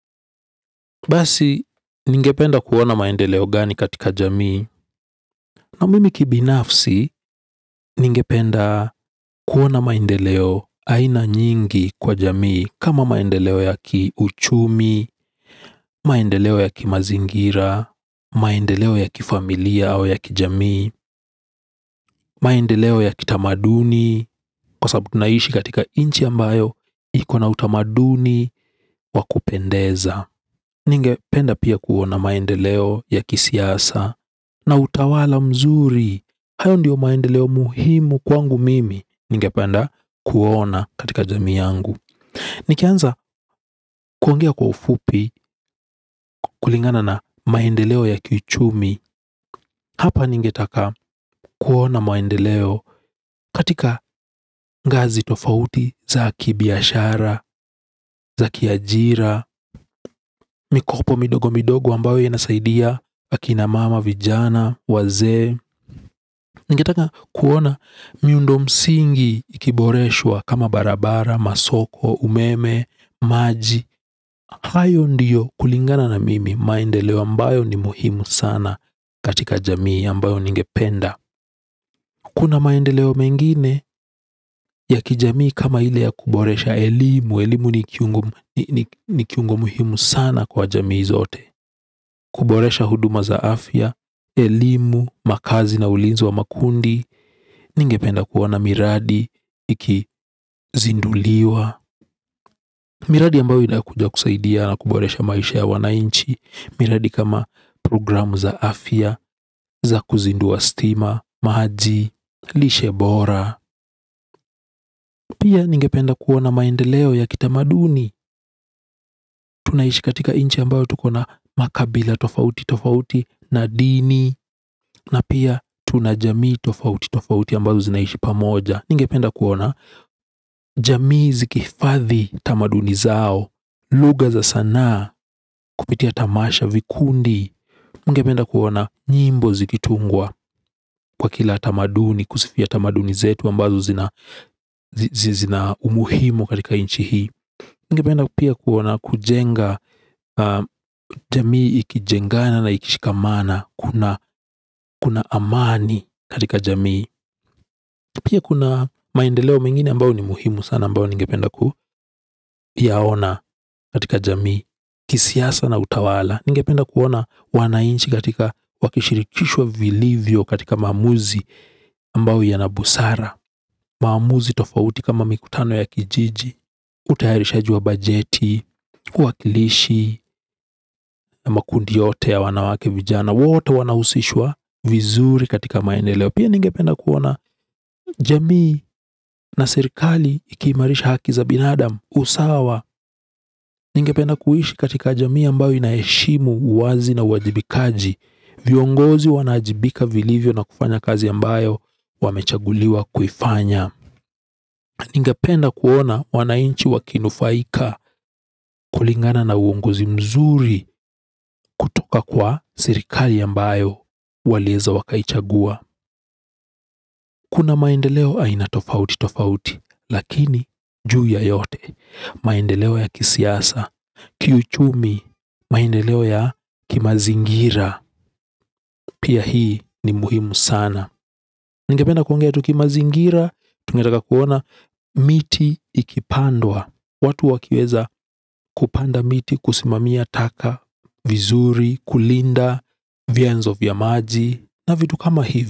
Basi, ningependa kuona maendeleo gani katika jamii na mimi kibinafsi, ningependa kuona maendeleo aina nyingi kwa jamii. Kama maendeleo ya kiuchumi, maendeleo yakimazingira, maendeleo yakifamilia au ya ki jamii maendeleo yaki tamaduni, kwa sabubu naishi katika inchi ambayo ikona utamaduni wakupendeza. Ningependa pia kuona maendeleo ya kisiasa na utawala mzuri. Hayo ndio maendeleo muhimu kwangu mimi. Ningependa kuona katika jamii yangu. Nikianza kuongea kwa ufupi, kulingana na maendeleo ya kichumi. Hapa ningetaka kuona maendeleo katika gazi tofauti za kibiashara za kiajira. Mikopo midogo midogo ambayo inasaidia akina mama, vijana, wazee ningetaka kuona miundo msingi ikiboreshwa kama barabara, masoko, umeme, maji. Hayo ndiyo kulingana na mimi, maendeleo ambayo ni muhimu sana katika jamii ambayo ningependa. Kuna maendeleo mengine, ya kijamii kama ile ya kuboresha elimu. Elimu ni kiungo muhimu sana kwa jamii zote. Kuboresha huduma za afya, elimu, makazi na ulinzi wa makundi. Ningependa kuona miradi, ikizinduliwa. Miradi ambayo inakuja kusaidia na kuboresha maisha ya wanainchi. Miradi kama programu za afya, za kuzindua stima, maji, lishe bora. Pia, ningependa kuona maendeleo ya kitamaduni. Tunaishi katika inchi ambayo tukona makabila tofauti tofauti na dini. Na pia, tuna jamii tofauti, tofauti ambazo zinaishi pamoja. Ningependa kuona jamii zikihifadhi tamaduni zao. Lugha za sanaa. Kupitia tamasha vikundi. Ningependa kuona nyimbo zikitungwa kwa kila tamaduni. Kusifia tamaduni zetu ambazo zina umuhimu katika inchi hii. Ningependa pia kuona kujenga jamii ikijengana na ikishikamana kuna kuna amani katika jamii. Pia kuna maendeleo mengine ambao ni muhimu sana ambao ningependa ku yaona katika jamii, kisiasa na utawala. Ningependa kuona wanainchi katika wakishirikishwa vilivyo katika maamuzi ambao yanabusara. Mamuzi tofauti kama mikutano ya kijiji. Utayari ushajua bajeti, uwakilishi na makundi yote ya wanawake vijana wote wanahusishwa vizuri katika maendeleo. Pia ningependa kuona jamii na serikali ikiimarisha haki za binadam, usawa, ningependa kuishi katika jamii ambayo inaheshimu uwazi na uwajibikaji. Viongozi wana ajibika vilivyo na kufanya kazi ambayo wamechaguliwa kuifanya. Ningependa kuona wanainchi wakinufaika kulingana na uongozi mzuri. Kutoka kwa serikali ambayo walieza wakaichagua. Kuna maendeleo aina tofauti tofauti, lakini, juu ya yote. Maendeleo ya kisiasa, kiuchumi, maendeleo ya kimazingira, pia hii ni muhimu sana. Nigependa kuongea tu kimazingira, tungetaka kuona miti ikipandwa. Watu wakieza kupanda miti, kusimamia taka, vizuri, kulinda, vianzo vya maji, na vitu kama hivi.